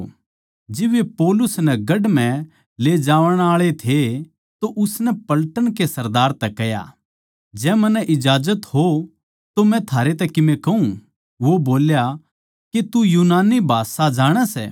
जिब वे पौलुस नै गढ़ म्ह ले जावण आळे थे तो उसनै पलटन के सरदार तै कह्या जै मन्नै इजाजत हो तो मै थारे तै कीमे कहूँ वो बोल्या के तू यूनानी भाषा जाणै सै